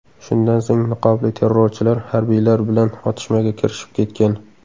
Shundan so‘ng niqobli terrorchilar harbiylar bilan otishmaga kirishib ketgan.